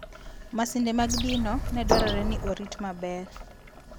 Masinde mag dino ne dwarore ni orit maber.